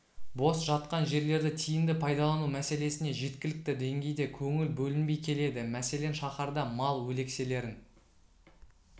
бос жатқан жерлерді тиімді пайдалану мәселесіне жеткілікті деңгейде көңіл бөлінбей келеді мәселен шаһарда мал өлекселерін